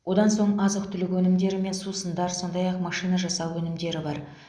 одан соң азық түлік өнімдері мен сусындар сондай ақ машина жасау өнімдері бар